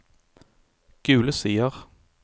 Gule Sider